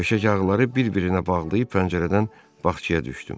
Döşək ağları bir-birinə bağlayıb pəncərədən bağçaya düşdüm.